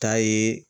Ta ye